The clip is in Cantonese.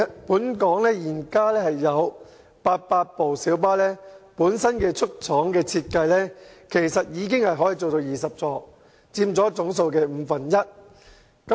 本港現時有800部小巴的出廠設計可以設有20個座位，約佔總數的五分之一。